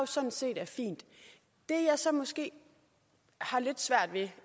sådan set er fint det jeg så måske har lidt svært ved